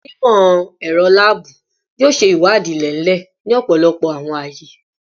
Awọn onimọ-ẹrọ laabu yoo ṣe iwadii ilẹ-ilẹ ni ọpọlọpọ awọn aaye